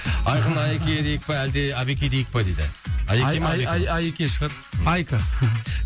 айқын айеке дейік пе әлде абеке дейік па дейді айеке шығар айка хм